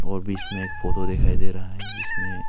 और बीच में एक फोटो दिखाई दे रहा है जिसमें--